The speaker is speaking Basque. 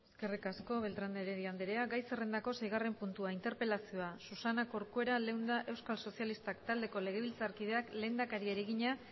eskerrik asko beltrán de heredia andrea gai zerrendako seigarren puntua interpelazioa susana corcuera leunda euskal sozialistak taldeko legebiltzarkideak lehendakariari egina